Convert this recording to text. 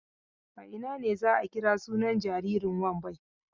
A ina ne za a kira sunan jaririn Wambai?